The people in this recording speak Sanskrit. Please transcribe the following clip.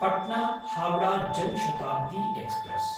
पट्ना–हावडा जन शताब्दी एक्स्प्रेस्